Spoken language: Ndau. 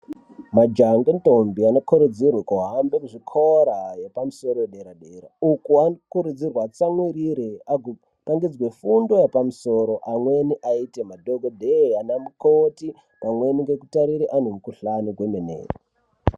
Majaha nendombi anokurudzirwe kuhambe muzvikora yepamusoro yedera- dera uku anokurudzirwa atsamwirire agopangidzwe fundo yepamusoro amweni aite madhokodheya ana mukoti amweni mgekutarire antu mukhuhlani kwemene.